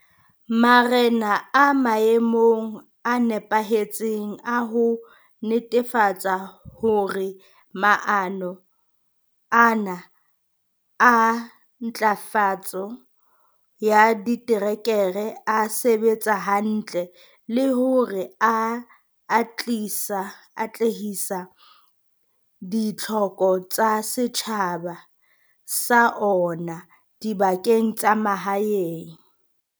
Marena a maemong a nepahetseng a ho netefatsa hore maano ana a ntlafatso ya ditereke a sebetsa hantle le hore a atlehisa ditlhoko tsa setjhaba sa ona dibakeng tsa mahaeng.